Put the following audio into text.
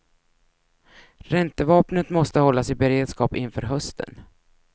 Räntevapnet måste hållas i beredskap inför hösten.